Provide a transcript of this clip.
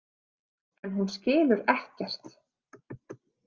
En hún skilur ekkert.